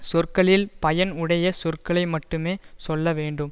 சொற்களில் பயன் உடைய சொற்களை மட்டுமே சொல்லவேண்டும்